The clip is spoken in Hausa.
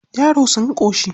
Yara sun ƙoshi?